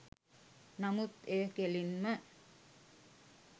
නමුත් එය කෙලින්ම